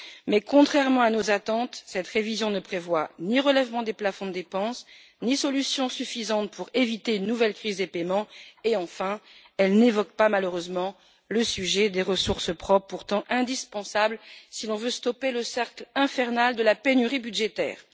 Mais contrairement à nos attentes, cette révision ne prévoit ni relèvement des plafonds de dépenses, ni solutions suffisantes pour éviter une nouvelle crise des paiements et, enfin, elle n'évoque pas malheureusement le sujet des ressources propres, pourtant indispensables si l'on veut stopper le cercle infernal de la pénurie budgétaire.